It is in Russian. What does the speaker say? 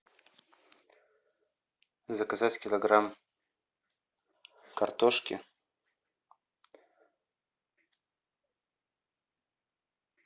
заказать килограмм картошки